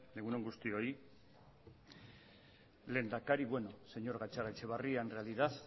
egun on guztioi lehendakari bueno señor gatzagaetxebarria en realidad